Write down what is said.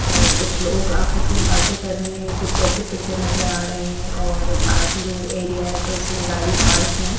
अअ कुछ लोग आपस में बातें कर रहे हैं कुछ चलते फिरते नजर आ रहे हैं और पार्किंग एरिया हैतो उसमें गाड़ी पार्क है।